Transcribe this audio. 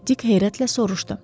Dik heyrətlə soruşdu.